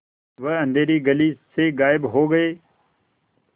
वह अँधेरी गली से गायब हो गए